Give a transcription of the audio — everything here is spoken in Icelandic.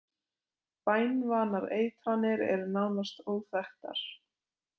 Banvænar eitranir eru nánast óþekktar.